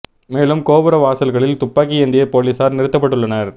மேலும் கோபுர வாசல்களில் துப்பாக்கி ஏந்திய போலீசார் நிறுத்தப்பட்டு உள்ளனர்